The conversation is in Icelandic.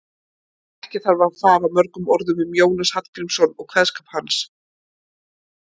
Ekki þarf að fara mörgum orðum um Jónas Hallgrímsson og kveðskap hans.